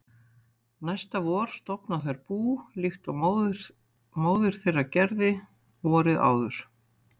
Næsta vor stofna þær bú líkt og móðir þeirra gerði vorið áður.